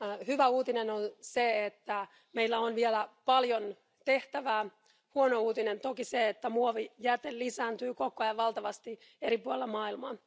Hyvä uutinen oli se, että meillä on vielä paljon tehtävää, huono uutinen toki se, että muovijäte lisääntyy koko ajan valtavasti eri puolilla maailmaa.